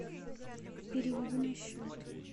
переведи на счет